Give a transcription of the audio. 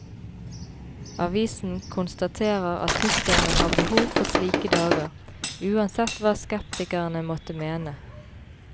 Avisen konstaterer at tyskerne har behov for slike dager, uansett hva skeptikerne måtte mene.